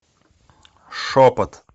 шепот